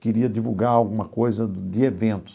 queria divulgar alguma coisa de eventos.